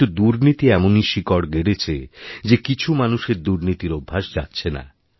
কিন্তুদুর্নীতি এমনই শিকড় গেড়েছে যে কিছু মানুষের দুর্নীতির অভ্যাস যাচ্ছে না